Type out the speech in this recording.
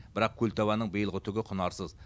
бірақ көлтабанның биылғы түгі құнарсыз